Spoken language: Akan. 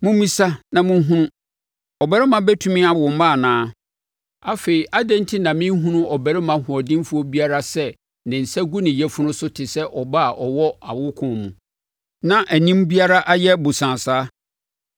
Mommisa na monhunu: Ɔbarima bɛtumi awo mma anaa? Afei, adɛn enti na mehunu ɔbarima ɔhoɔdenfoɔ biara sɛ ne nsa gu ne yafunu so te sɛ ɔbaa a ɔwɔ awokoɔ mu, na anim biara ayɛ bosaa saa?